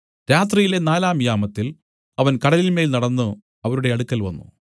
രാത്രിയിലെ നാലാം യാമത്തിൽ അവൻ കടലിന്മേൽ നടന്നു അവരുടെ അടുക്കൽ വന്നു